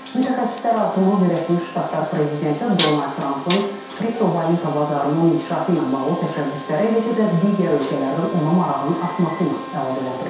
Mütəxəssislər artımı Birləşmiş Ştatlar prezidenti Donald Trampın kriptovalyuta bazarının inkişafı ilə bağlı təşəbbüsləri, eləcə də digər ölkələrdən ona marağın artması ilə əlaqələndirirlər.